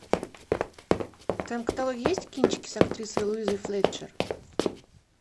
в твоем каталоге есть кинчики с актрисой луизой флетчер